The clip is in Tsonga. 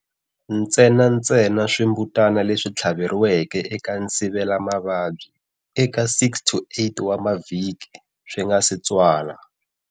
Ntsena ntsena swimbutana leswi tlhaveriweke eka nsivela mavabyi eka 6-8 wa mavhiki swi nga si tswala.